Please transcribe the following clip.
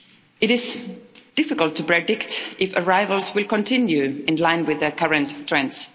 It is difficult to predict if arrivals will continue in line with their current trends.